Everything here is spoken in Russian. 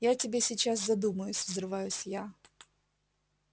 я тебе сейчас задумаюсь взрываюсь я